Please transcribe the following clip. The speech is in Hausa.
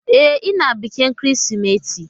E, ina bikin Kirsimeti.